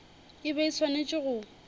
e be e swanetše go